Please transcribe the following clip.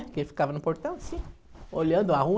Porque ele ficava no portão assim, olhando a rua.